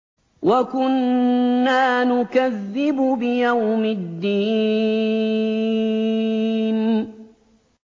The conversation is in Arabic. وَكُنَّا نُكَذِّبُ بِيَوْمِ الدِّينِ